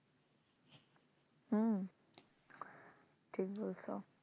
হুম ঠিক বলছো